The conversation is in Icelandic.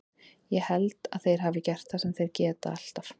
Ég held að þeir hafi gert það sem þeir gera alltaf.